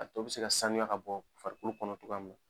A to bɛ se ka sanuya ka bɔ farikolo kɔnɔ cogoya min na.